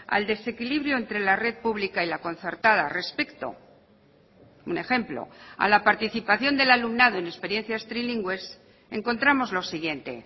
al desequilibrio entre la red pública y la concertada respecto un ejemplo a la participación del alumnado en experiencias trilingües encontramos lo siguiente